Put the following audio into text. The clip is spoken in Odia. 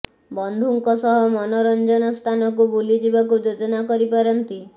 ବନ୍ଧୁଙ୍କ ସହ ମନୋରଞ୍ଜନ ସ୍ଥାନକୁ ବୁଲି ଯିବାକୁ ଯୋଜନା କରିପାରନ୍ତି